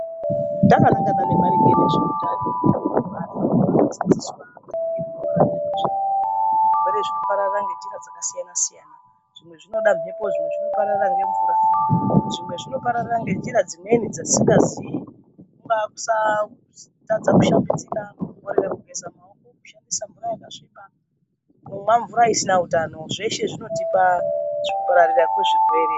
Takanangana maringe ngezvehutano ,vantu vanodzidziswa zvirwere zvinopararira ngenzira dzakasiyana siyana ,zvimwe zvinoda mhepo ,zvimwe zvinopararira nemvura ,zvimwe zvinopararira ngenzira dzimweni dzatisingazivi kungave kusa kutadza kushambidzika kungave kugeza maoko ,kushandisa mvura yakasviba ,kunwa mvura isina utano zveshe zvinotipa kupararira kwezvirwere.